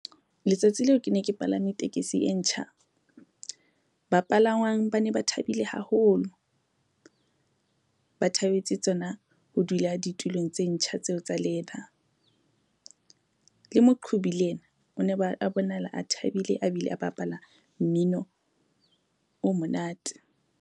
Letsatsi leo ke ne ke palame tekesi e ntjha. Ba palangwang ba ne ba thabile haholo, ba thabetse tsona ho dula ditulong tse ntjha tseo tsa leather. Le moqhobi le ena o ne ba a bonahala a thabile a bile a bapala mmino o monate.